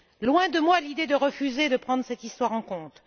Loin de moi l'idée de refuser de prendre cette histoire en compte.